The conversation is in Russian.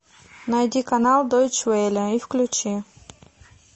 найди канал дойч велле и включи